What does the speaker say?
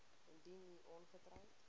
indien u ongetroud